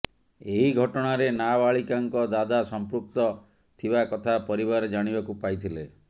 ଏହି ଘଟଣାରେ ନାବାଳିକାଙ୍କ ଦାଦା ସଂପୃକ୍ତ ଥିବା କଥା ପରିବାର ଜାଣିବାକୁ ପାଇଥିଲେ